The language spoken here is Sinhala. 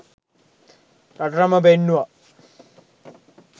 රටටම පෙන්නුවා.